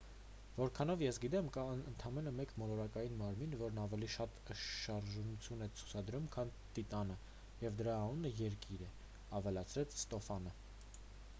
որքանով ես գիտեմ կա ընդամենը մեկ մոլորակային մարմին որն ավելի շատ շարժունություն է ցուցադրում քան տիտանը և դրա անունը երկիր է ավելացրեց ստոֆանը